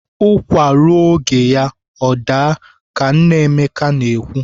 Ụkwa ruo oge ya o daa ka nna nna Emeka na-ekwu.